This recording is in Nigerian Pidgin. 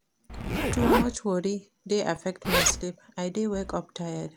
Too much worry dey affect my sleep, I dey wake up tired